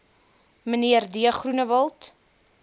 mnr d groenewald